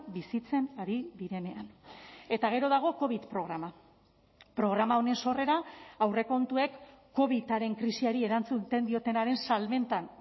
bizitzen ari direnean eta gero dago covid programa programa honen sorrera aurrekontuek covidaren krisiari erantzuten diotenaren salmentan